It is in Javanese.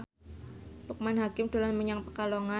Loekman Hakim dolan menyang Pekalongan